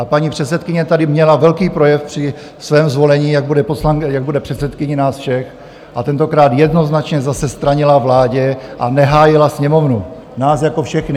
A paní předsedkyně tady měla velký projev při svém zvolení, jak bude předsedkyní nás všech, a tentokrát jednoznačně zase stranila vládě a nehájila Sněmovnu, nás jako všechny.